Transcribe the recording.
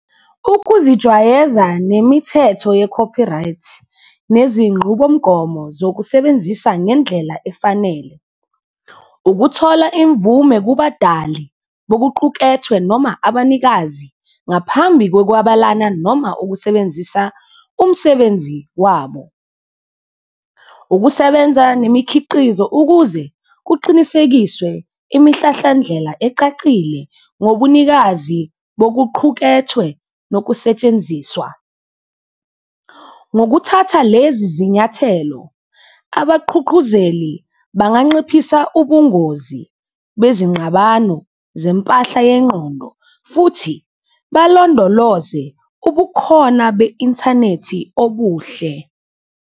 Ukuzijwayeza nemithetho ye-copyright nezingqubomgomo zokusebenzisa ngendlela efanele, ukuthola imvume kubadali bokuqukethwe noma abanikazi ngaphambi kokwabalana, noma ukusebenzisa umsebenzi wabo, ukusebenza nemikhiqizo ukuze kuqinisekiswe imihlahlandlela ecacile ngobunikazi bokuqhukethwe nokusetshenziswa. Ngokuthatha lezi zinyathelo abaqhuqhuzeli banganqiphisa ubungozi bezingqabano zempahla yengqondo futhi balondoloze ubukhona be-inthanethi obuhle.